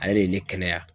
Ale de ye ne kɛnɛya